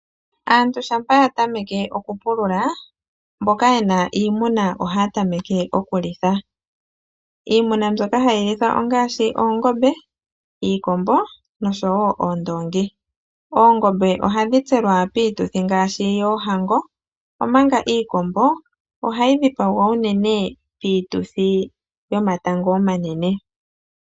Aantu shampa ya tameke oku pulula, mboka yena iimuna ohaya tameke oku litha. Iimuna mbyoka hayi lithwa ongaashi oongombe, iikombo nosho wo oondoongi. Oongombe ohadhi tselwa piituthi ngaashi yohango. Omanga iikombo ohayi dhipagwa unene piituthi yomatango omanene.